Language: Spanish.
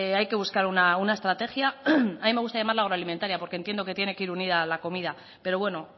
hay que buscar una estrategia a mí me gusta llamarla agroalimentaria porque entiendo que tiene que ir unida a la comida pero bueno